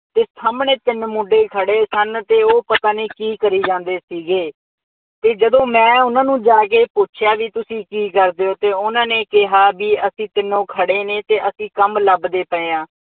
ਅਤੇ ਸਾਹਮਣੇ ਤਿੰਨ ਮੁੰਡੇ ਖੜੇ ਸਨ ਅਤੇ ਉਹ ਪਤਾ ਨਹੀਂ ਕੀ ਕਰੀ ਜਾਂਦੇ ਸੀਗੇ ਅਤੇ ਜਦੋਂ ਮੈਂ ਉਹਨਾ ਨੂੰ ਜਾ ਕੇ ਪੁੱਛਿਆ ਬਈ ਤੁਸੀਂ ਕੀ ਕਰਦੇ ਹੋ ਅਤੇ ਉਹਨਾ ਨੇ ਕਿਹਾ ਬਈ ਅਸੀਂ ਤਿੰਨੋ ਖੜ੍ਹੇ ਨੇ ਅਤੇ ਅਸੀਂ ਕੰੰਮ ਲੱਭਦੇ ਪਏ ਹਾਂ।